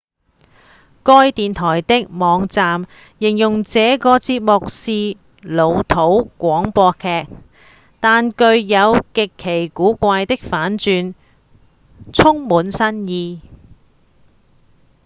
該電臺的網站形容這個節目是「老套的廣播劇但具有極其古怪的反轉充滿新意！」